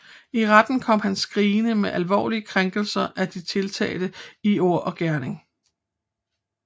I retten kom han skrigende med alvorlige krænkelser af de tiltalte i ord og gerning